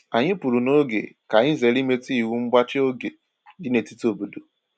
Anyị pụrụ noge ka anyị zere imetụ iwu mgbachi oge dị n’etiti obodo